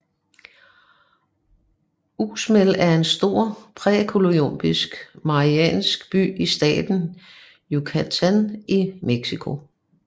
Uxmal er en stor præcolumbiansk mayaruinby i staten Yucatán i Mexico